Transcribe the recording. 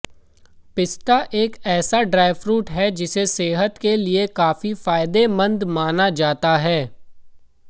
पिस्ता एक ऐसा ड्राई फ्रूट है जिसे सेहत के लिए काफी फायदेमंद माना जाता है